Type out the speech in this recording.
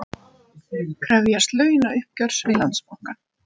Krefjast launauppgjörs við Landsbankann